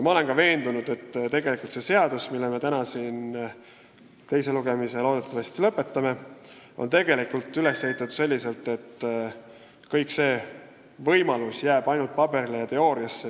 Ma olen ka veendunud, et see seaduseelnõu, mille teise lugemise me täna loodetavasti lõpetame, on üles ehitatud selliselt, et kõnealune võimalus jääb ainult paberile ja teooriasse.